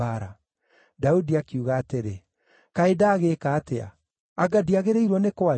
Daudi akiuga atĩrĩ, “Kaĩ ndagĩĩka atĩa? Anga ndiagĩrĩirwo nĩ kwaria?”